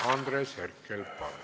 Andres Herkel, palun!